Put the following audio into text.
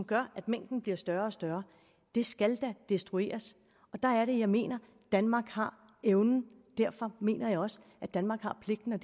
gør at mængden bliver større og større det skal da destrueres der er det jeg mener at danmark har evnen og derfor mener jeg også at danmark har pligten og